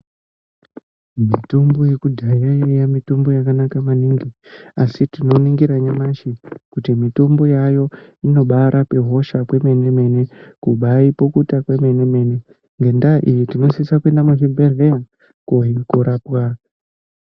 Mitombo yekudhaya yaiya mitombo yakanaka maningi, asi tinoningira nyamashi kuti mitombo yaayo inobarape hosha kwemene-mene, kubaipukuta kwemene-mene. Ngendaa iyi tinosisa kuenda muzvibhedhleya korapwa.